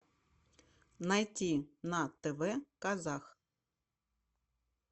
найти на тв казах